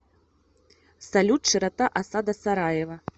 салют широта осада сараева